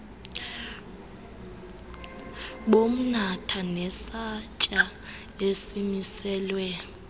bomnatha nesantya esimiselwe